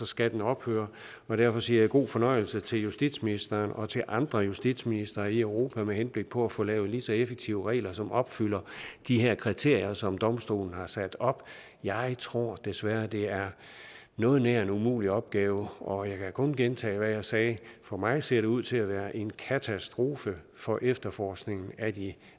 skal den ophøre derfor siger jeg god fornøjelse til justitsministeren og til andre justitsministre i europa med henblik på at få lavet lige så effektive regler som opfylder de her kriterier som eu domstolen har sat op jeg tror desværre at det er noget nær en umulig opgave og jeg kan kun gentage hvad jeg sagde for mig ser det ud til at være en katastrofe for efterforskningen af de